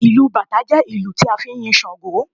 Bàtá drum is dedicated to praising Ṣàngó